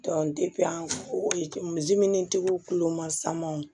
tigiw kulo ma sama wo